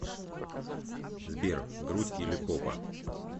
сбер грудь или попа